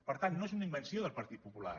per tant no és una invenció del partit popular